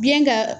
Biyɛn ka